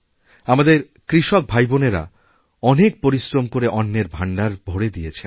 আমাদের কৃষক ভাইবোনেরা অনেকপরিশ্রম করে অন্নের ভাণ্ডার ভরে দিয়েছেন